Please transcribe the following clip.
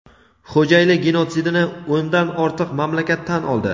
Xo‘jayli genotsidini o‘ndan ortiq mamlakat tan oldi.